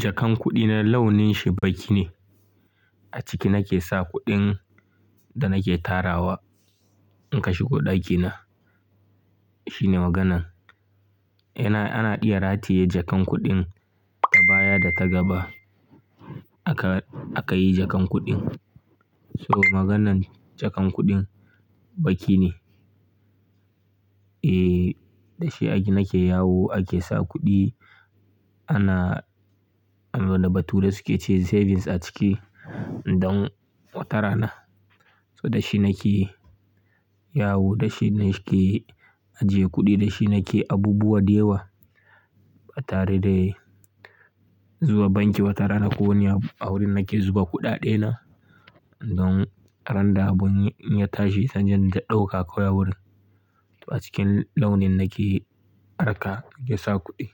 Jakan kuɗi na launin shi baƙi ne. A ciki nake sa kuɗin da nake tarawa in ka shigo ɗakina. Shine maganan, yana, ana iya rataye jakan kuɗin ta baya da ta gaba. Aka. Aka yi jakan kuɗin, So maganan jakan kuɗin baƙi ne. Eh, da shi ake, nake yawo ake sa kuɗi. Ana, raba tu da suke cewa savings a ciki don watara na. Da shi nake yawo, da shi nake ajiye kuɗi, da shi nake abubuwa da yawa ba tare da zuwa banki ba tare na ko wani a wurin nake zuba kuɗaɗena. Don ran da abun ya tashi sai inje inta ɗauka kawai a wurin. A cikin launin nake arka nake sa kuɗi,